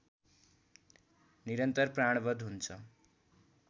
निरन्तर प्राणवध हुन्छ